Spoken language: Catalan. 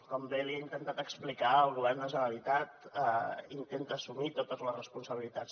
com bé li he intentat explicar el govern de la generalitat intenta assumir totes les responsabilitats